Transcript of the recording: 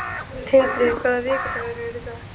Tindri, hvaða vikudagur er í dag?